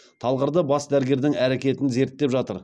талғарда бас дәрігердің әрекетін зерттеп жатыр